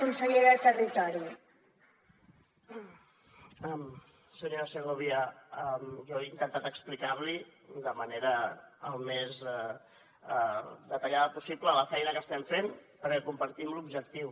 senyora segovia jo he intentat explicar li de manera al més detallada possible la feina que estem fent perquè compartim l’objectiu